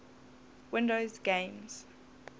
windows games